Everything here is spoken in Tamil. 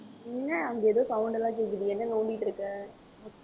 என்ன அங்க எதோ sound எல்லாம் கேக்குது என்ன நோண்டிட்டு இருக்க?